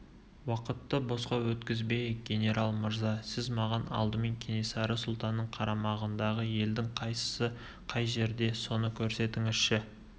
уақытты босқа өткізбейік генерал мырза сіз маған алдымен кенесары сұлтанның қарамағындағы елдің қайсысы қай жерде соны көрсетіңізші